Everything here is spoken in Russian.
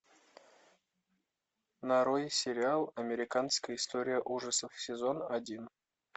нарой сериал американская история ужасов сезон один